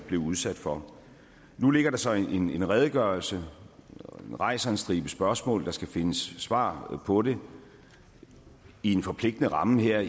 blev udsat for nu ligger der så en redegørelse som rejser en stribe spørgsmål og der skal findes svar på det i en forpligtende ramme her